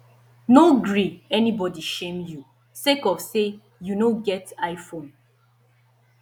no gree anybodi shame you sake of sey you no get iphone